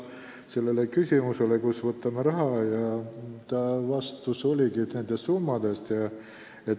See oli küsimus, kust me võtame vajaliku raha.